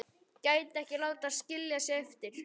Gæti ekki látið skilja sig eftir.